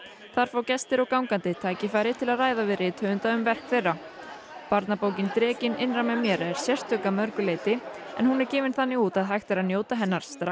þar fá gestir og gangandi tækifæri til þess að ræða við rithöfunda um verk þeirra barnabókin Drekinn innra með mér er sérstök að mörgu leyti hún er gefin þannig út að hægt er að njóta hennar strax